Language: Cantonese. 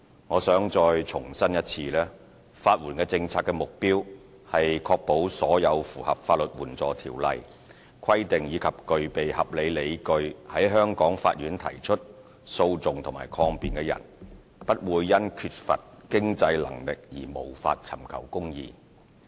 我想再一次重申，法援政策的目標是確保所有符合《法律援助條例》規定及具備合理理據在香港法院提出訴訟或抗辯的人，不會因缺乏經濟能力而無法尋求公義。